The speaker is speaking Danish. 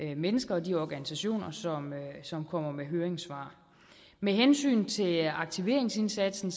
de mennesker og de organisationer som kommer med høringssvar med hensyn til aktiveringsindsatsen